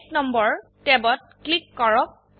এক নম্বৰ ট্যাবত ক্লিক কৰক